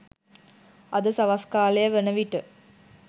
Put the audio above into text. අද සවස් කාලය වන විට